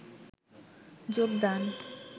যোগদান